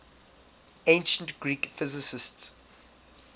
ancient greek physicists